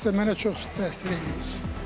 Şəxsən mənə çox pis təsir eləyir.